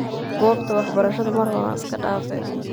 Gobta waxbarashada mar hore iskadafe.